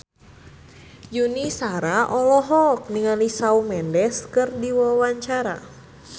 Yuni Shara olohok ningali Shawn Mendes keur diwawancara